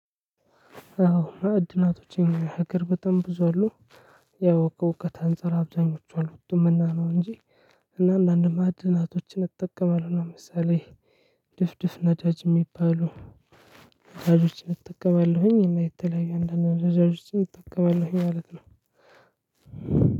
አዎ እድሜያቶቼን ሀገር በጣም ብዙ አሉ። ያው ከእውቀት አንፃር አብዛኞቹ አሎጡምና ነው እንጂ። እና አንዳንድ ማዕድናቶችን እጠቀማለሁ ለምሳሌ ድፍድፍ ነጃጅ የሚባሉ። ነዳጆችን እጠቀማለሁኝ እና የተለያዩ አንዳንድ ነዳጆችን እጠቀማለሁኝ ማለት ነው።